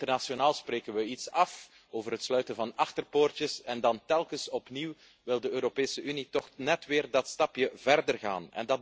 Internationaal spreken we iets af over het sluiten van achterpoortjes en dan telkens opnieuw wil de Europese Unie toch net weer dat stapje verder gaan.